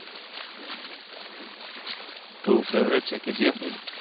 To favorite છે KGF નહિ